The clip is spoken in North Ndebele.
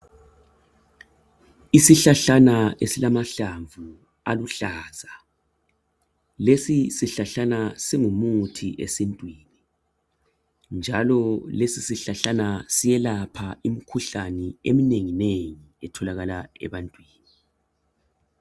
Isihlahlana esilamahlamvu aluhlaza. Lesi sihlahlana, singumuthi esintwini, njalo lesisihlahlana, siyelapha imikhuhlane, eminenginengi etholakala ebantwini.